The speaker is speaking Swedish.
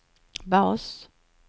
bas